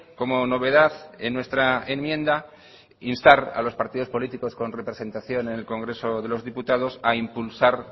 como novedad en nuestra enmienda instar a los partidos políticos con representación en el congreso de los diputados a impulsar